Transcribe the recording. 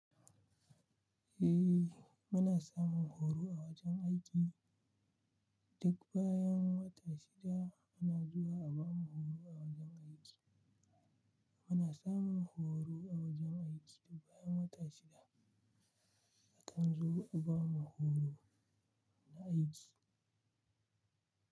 Eh, muna samun horo a wajen aiki. Duk bayan wata shida muna zuwa a bamu horo a wajen aiki. Muna samun horo a wajen aiki bayan wata shida. Akan zo a bamu horo na aiki.